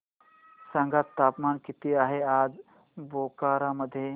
सांगा तापमान किती आहे आज बोकारो मध्ये